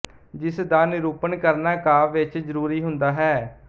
ਜਿਸ ਦਾ ਨਿਰੂਪਣ ਕਰਨਾ ਕਾਵਿ ਵਿੱਚ ਜਰੂਰੀ ਹੁੰਦਾ ਹੈ